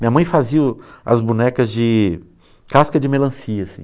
Minha mãe fazia o as bonecas de casca de melancia assim.